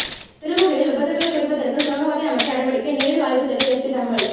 பெருமுகையில் விபத்துகளை குறைப்பதற்கு சுரங்கப்பாதை அமைக்க நடவடிக்கை நேரில் ஆய்வு செய்த எஸ்பி தகவல்